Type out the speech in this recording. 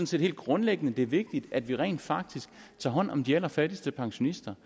set helt grundlæggende at det er vigtigt at vi rent faktisk tager hånd om de allerfattigste pensionister